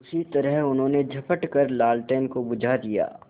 उसी तरह उन्होंने झपट कर लालटेन को बुझा दिया